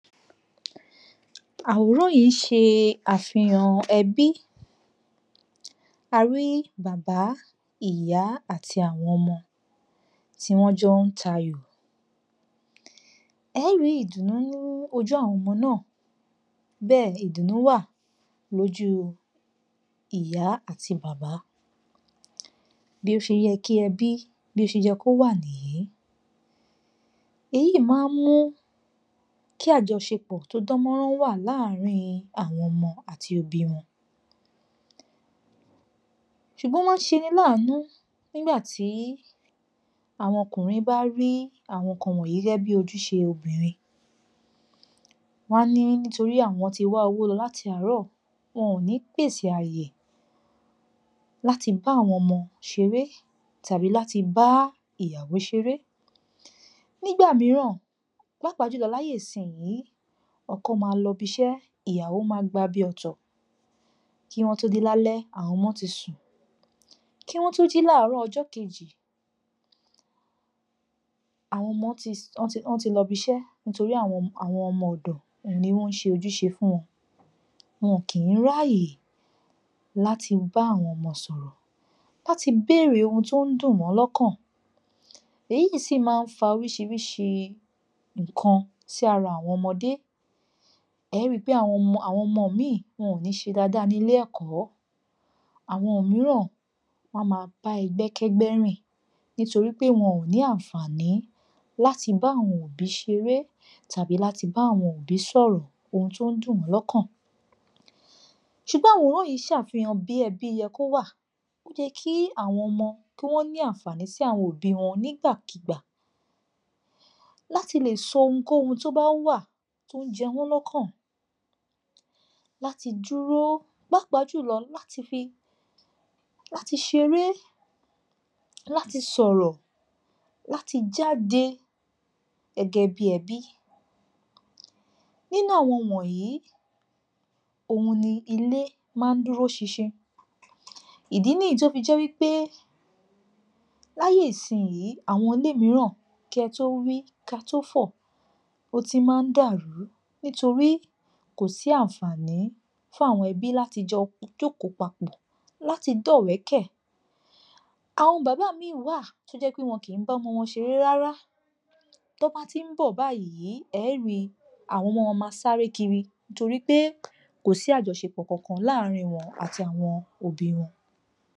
Àwòrán yìí ṣe àfihàn ẹbí, a rí bàbá, ìyá àti àwọn ọmọ, tí wọ́n jọ ń tayò. Ẹ̀ ẹ́ rí ìdùnú nínú ojú àwọn ọmọ náà, bẹ́ẹ̀ ìdùnú wà lójú ìyá àti bàbá. Bí ó ṣe yẹ kí ẹbí, bó ṣe yẹ kó wà nìyí, èyí yìí máa ń mú kí àjọṣepọ̀ tó dán mọ́rán wà láàrín àwọn ọmọ àti òbí wọn, Ṣùgbọ́n ó máa ń ṣeni láànú nígbà tí àwọn ọkùnrin bá rí àwọn nǹkan wọ̀nyí gẹ́gẹ́ bí ojúṣe obìnrin, wọn a ní àwọn ti wá owó lọ láti àárọ̀, wọn ò ní pèsè àyè láti bá àwọn ọmọ ṣeré, tàbí láti bá ìyàwó ṣeré. Nígbà mìíràn, pàápàá jùlọ láyé ìsinyìí, ọkọ máa lọ ibiṣẹ́, ìyàwó máa gba bi ọ̀tọ̀, kí wọn tó dé lálẹ́, àwọn ọmọ ti sùn, kí wọn tó jí láàárọ̀ ọjọ́ kejì, àwọn ọmọ ti [um]ti lọ, wọ́n ti lọ ibiṣẹ́, nítorí àwọn ọmọ, àwọn ọmọ-ọ̀dọ̀, òhun ni wọ́n ń ṣe ojúṣe fún wọn, wọn kì í ráyè láti bá àwọn ọmọ sọ̀rọ̀, láti béèrè ohun tó ń dùn wọ́n lọ́kàn, èyí sì máa ń fa oríṣiríṣi nǹkan sí ara àwọn ọmọdé, ẹ ó ri pé àwọn ọmọ, àwọn ọmọ míì wọn ò ní í ṣe dáadáa nílé ẹ̀kọ́, àwọn mìíràn wọn a máa bá ẹgbẹ́ kẹ́gbẹ́ rìn, nítorí pé wọn ò ní àǹfàní láti bá àwọn òbí ṣeré, tàbí láti bá àwọn òbí sọ̀rọ̀ ohun tó ń dùn wọ́n lọ́kàn. Ṣùgbọ́n àwòrán yìí ń ṣàfihàn bí ẹbí yẹ kó wà. Ó yẹ kí àwọn òmọ kí wọ́n ní àǹfàní sí àwọn òbí wọn nígbàkigbà, láti lè sọ ohunkóhun tó bá wà, tó ń jẹ wọ́n lọ́kàn, láti dúró pàápàá jùlọ láti fi, láti ṣeré, láti sọ̀rọ̀, láti jáde gẹ́gẹ́ bí ẹbí. Nínú àwọn ohun wọ̀nyí, òhun ni ilé máa ń dúró ṣinṣin, ìdí nìyí tí ó fi jẹ́ wípé láyé ìsinyìí, àwọn ilé mìíràn, kí e tó wí, kí á tó fọ̀, ó ti máa ń dàrú, nítorí kò sí àǹfàní fún àwọn ẹbí láti jọ jókòó papọ̀, láti dọ́wẹ̀ẹ́kẹ̀. Àwọn bàbá míì wà, tó jẹ́ pé wọn kì í bá ọmọ wọn ṣeré rárá, tán bá ti ń bọ̀ báyìí, ẹ é ri, àwọn ọmọ wọ́n máa sáré kiri, nítorí pé kò sí àjọṣepọ̀ kankan láàrín wọn àti àwọn òbí wọn.